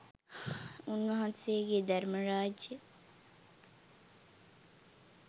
උන්වහන්සේ ගේ ධර්ම රාජ්‍යය